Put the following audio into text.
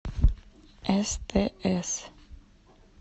стс